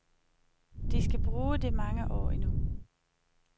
De skal bruge det mange år endnu.